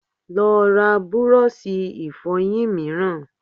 Lọ ra búrọ́ọ̀ṣì Ìfọ̀yín mìíràn